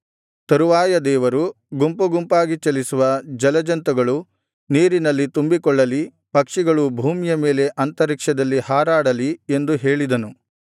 ತರುವಾಯ ದೇವರು ಗುಂಪು ಗುಂಪಾಗಿ ಚಲಿಸುವ ಜಲಜಂತುಗಳು ನೀರಿನಲ್ಲಿ ತುಂಬಿಕೊಳ್ಳಲಿ ಪಕ್ಷಿಗಳು ಭೂಮಿಯ ಮೇಲೆ ಅಂತರಿಕ್ಷದಲ್ಲಿ ಹಾರಾಡಲಿ ಎಂದು ಹೇಳಿದನು